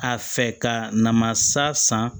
A fɛ ka namasa san